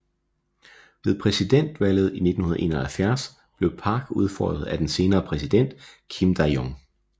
Ved præsidentvalget i 1971 blev Park udfordret af den senere præsident Kim Dae Jung